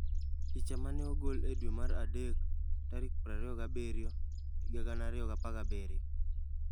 Picha ma ne ogol e dwe mar adek 27, 2017.